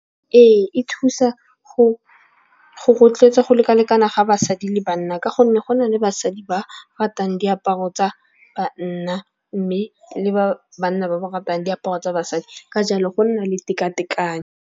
Ee, e thusa go rotloetsa go lekalekana ga basadi le banna. Ka gonne go na le basadi ba ratang diaparo tsa banna. Mme le ba banna ba ba ratang diaparo tsa basadi ka jalo go nna le tekatekano.